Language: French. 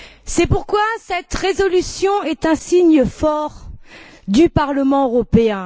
C'est pourquoi cette résolution est un signe fort du Parlement européen.